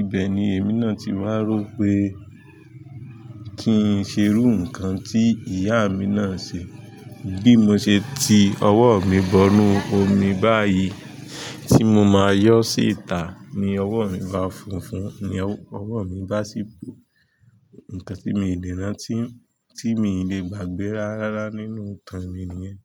Ibẹ̀ ni èmi náà ti wá rò pé kí n ṣe rú nǹkan tí ìyá mi náà ṣe. Bí mo ṣe ti ọwọ́ mi bọnú omi báyìí tí mo máa yọ sí ìta, ni ọwọ́ mi bá funfun, ni ọwọ́ mi bá ṣíbò. Nǹkan tí mi le rántí, tí mi le gbàgbé rárára nínú ìtàn mi nìyẹn.